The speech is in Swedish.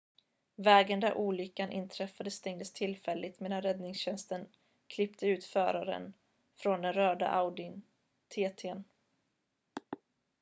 vägen där olyckan inträffade stängdes tillfälligt medan räddningstjänsten klippte ut föraren från den röda audi tt:n